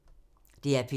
DR P2